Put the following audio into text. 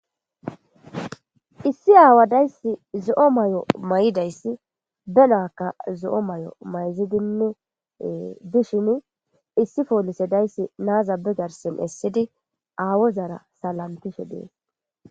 issi aawadayssi zo7o may7o may7idayssi be naakka zo7o may7o mayzidinnee dishin issi poolise dayssi naazabe garsen essidi aawo zara salamtishe dees